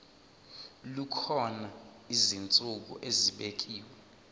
kukhona izinsuku ezibekiwe